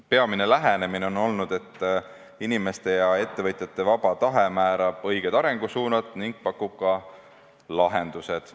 Peamine lähenemine on olnud, et inimeste ja ettevõtjate vaba tahe määrab õiged arengusuunad ning pakub ka lahendused.